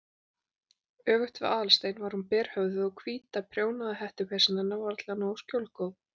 Öfugt við Aðalstein var hún berhöfðuð og hvíta prjónaða hettupeysan hennar var varla nógu skjólgóð.